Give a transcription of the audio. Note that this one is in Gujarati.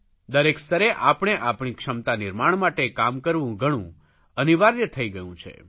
દરેક સ્તરે આપણે આપણી ક્ષમતા નિર્માણ માટે કામ કરવું ઘણું અનિવાર્ય થઇ ગયું છે